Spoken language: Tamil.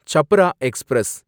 சப்ரா எக்ஸ்பிரஸ்